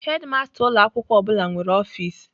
Hedimasta ụlọ akwụkwọ ọ bụla nwere ọfis.